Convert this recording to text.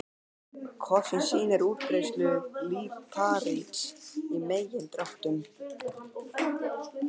Kort sem sýnir útbreiðslu líparíts í megindráttum.